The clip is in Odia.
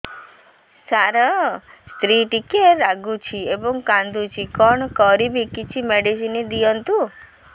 ସାର ସ୍ତ୍ରୀ ଟିକେ ରାଗୁଛି ଏବଂ କାନ୍ଦୁଛି କଣ କରିବି କିଛି ମେଡିସିନ ଦିଅନ୍ତୁ